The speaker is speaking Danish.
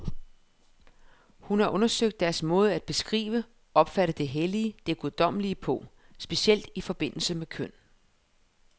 Hun har undersøgt deres måde at beskrive, opfatte det hellige, det guddommelige på, specielt i forbindelse med køn.